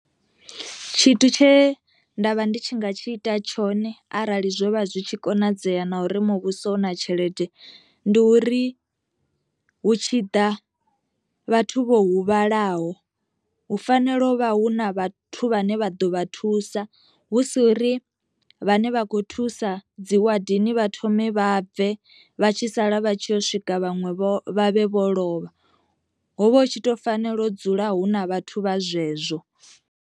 Tshithu tshe nda vha ndi tshi nga tshi ita tshone arali zwo vha zwi tshi konadzea na uri muvhuso u na tshelede, ndi uri hu tshi ḓa vhathu vho huvhalaho hu fanela u vha hu na vhathu vhane vha ḓo vha thusa hu si uri vhane vha kho thusa dzi widini vha thome vha bve vha tshi sala vha tshi yo swika vhanwe vho vha vhe vho lovha, ho vha hu tshi to fanela u dzula hu na vhathu vha zwezwo.